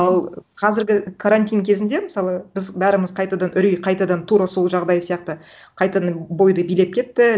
ал қазіргі карантин кезінде мысалы біз бәріміз қайтадан үрей қайтадан тура сол жағдай сияқты қайтадан бойды билеп кетті